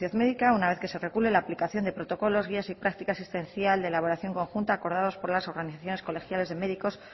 médica una vez que se regule la aplicación de protocolos guías y práctica asistencial de elaboración conjunta acordados por las organizaciones colegiadas de médicos